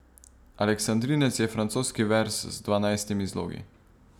Aleksandrinec je francoski verz z dvanajstimi zlogi.